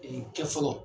kɛ fɔlɔ